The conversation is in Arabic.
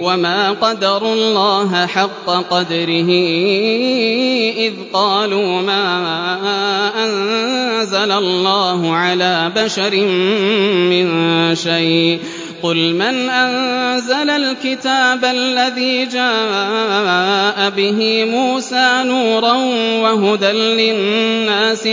وَمَا قَدَرُوا اللَّهَ حَقَّ قَدْرِهِ إِذْ قَالُوا مَا أَنزَلَ اللَّهُ عَلَىٰ بَشَرٍ مِّن شَيْءٍ ۗ قُلْ مَنْ أَنزَلَ الْكِتَابَ الَّذِي جَاءَ بِهِ مُوسَىٰ نُورًا وَهُدًى لِّلنَّاسِ ۖ